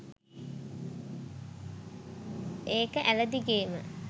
ඒක ඇළ දිගේම